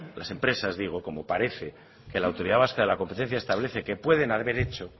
las empresas digo como parece que la autoridad vasca de la competencia establece que pueden haber hecho